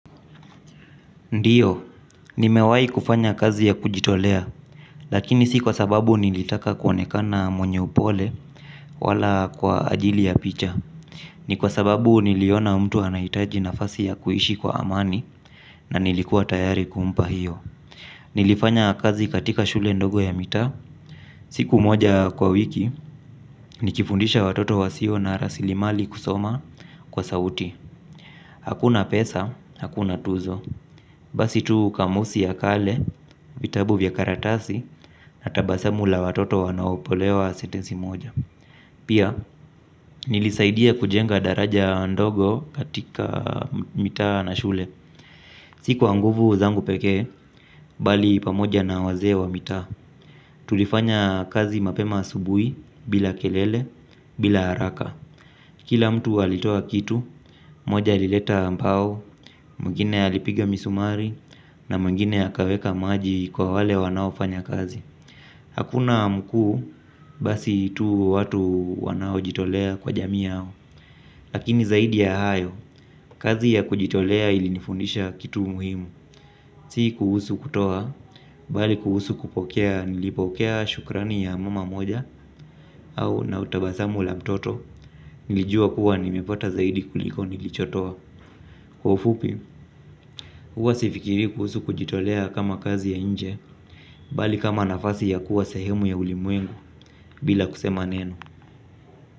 Ndiyo, nimewahi kufanya kazi ya kujitolea, lakini si kwa sababu nilitaka kuonekana mwenye upole wala kwa ajili ya picha. Ni kwa sababu niliona mtu anahitaji nafasi ya kuishi kwa amani na nilikuwa tayari kumpa hiyo. Nilifanya kazi katika shule ndogo ya mitaa. Siku moja kwa wiki, nikifundisha watoto wasio na rasilimali kusoma kwa sauti. Hakuna pesa, hakuna tuzo. Basi tu kamusi ya kale, vitabu vya karatasi, na tabasamu la watoto wanaopolewa sentensi moja. Pia, nilisaidia kujenga daraja ndogo katika mita na shule. Siku kwa nguvu zangu pekee, bali pamoja na wazee wa mita. Tulifanya kazi mapema asubuhi, bila kelele, bila haraka. Kila mtu walitoa kitu, moja alileta mbao, mwingine alipiga misumari na mwingine akaweka maji kwa wale wanaofanya kazi. Hakuna mkuu, basi tu watu wanaojitolea kwa jamii yao. Lakini zaidi ya hayo, kazi ya kujitolea ilinifundisha kitu muhimu. Si kuhusu kutoa, bali kuhusu kupokea nilipokea shukrani ya mama moja au na utabasamu la mtoto, nilijua kuwa nimepata zaidi kuliko nilichotoa. Kwa ufupi, huwa sifikiri kuhusu kujitolea kama kazi ya nje, bali kama nafasi ya kuwa sehemu ya ulimwengu bila kusema neno.